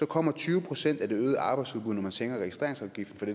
kommer tyve procent af det øgede arbejdsudbud når man sænker registreringsafgiften